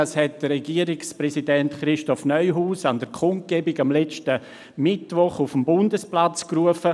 !»– das hat Regierungspräsident Christoph Neuhaus an der Kundgebung letzten Mittwoch auf dem Bundesplatz gerufen.